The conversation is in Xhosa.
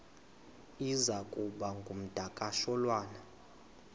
iza kuba ngumdakasholwana